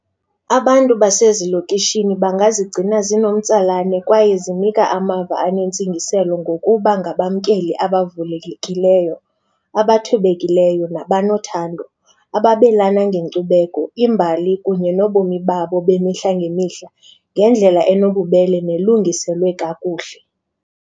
Abantu basezilokishini bangazigcina zinomtsalane kwaye zinika amava anentsingiselo ngokuba ngabamkeli abavulekileyo, abathobekileyo nabanothando. Ababelana ngenkcubeko, imbali kunye nobomi babo bemihla ngemihla ngendlela enobubele nelungiselwe kakuhle.